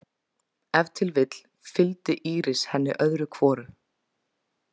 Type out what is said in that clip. Ef til vill fylgdi Íris henni öðru hvoru.